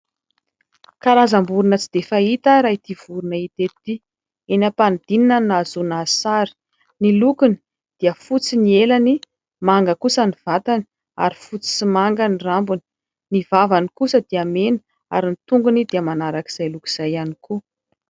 Karazam-borona tsy dia fahita raha ity vorona hita eto ity. Eny am-panidinana no nahazoana azy sary. Ny lokony dia fotsy ny elany, manga kosa ny vatany ary fotsy sy manga ny rambony. Ny vavany kosa dia mena ary ny tongony dia manaraka izay loko izay ihany koa.